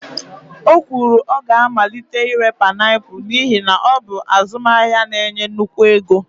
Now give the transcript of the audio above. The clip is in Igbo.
o kwuru, ọ ga-amalite ire painiapulu n'ihi na ọ bụ azụmahịa na-enye nnukwu ego